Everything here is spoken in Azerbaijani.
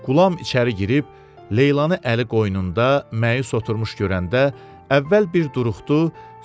Qulam içəri girib Leylanı əli qoynunda məyus oturmuş görəndə əvvəl bir duruxdu,